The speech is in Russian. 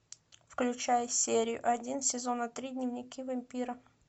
включай серию один сезона три дневники вампира